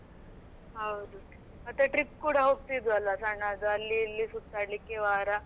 ಹೌದು ಮತ್ತೆ trip ಕೂಡ ಹೋಗ್ತಿದ್ವಿ ಅಲಾ ಸಣ್ಣದು ಅಲ್ಲಿ ಇಲ್ಲಿ ಸುತ್ತಾಡಲಿಕ್ಕೆ ವಾರ.